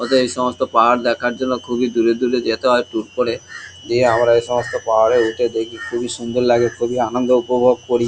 ওতে এই সমস্ত পাহাড় দেখার জন্য খুবই দূরে দূরে যেতে হয় ট্যুর করে দিয়ে আমরা এই সমস্ত পাহাড়ে উঠে দেখি। খুবই সুন্দর লাগে খুবই আনন্দ উপভোগ করি।